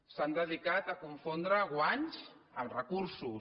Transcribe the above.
s’han dedicat a confondre guanys amb recursos